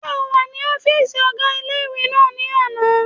Ṣé o wà ní ọ́fìsì ọgá ilé-ìwé náà ní àná?